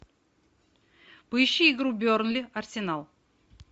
поищи игру бернли арсенал